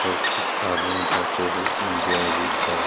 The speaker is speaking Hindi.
और कुछ आदमी बैठे हुए इंजॉय भी कर रहे।